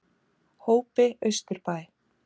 Hópi Austurbæ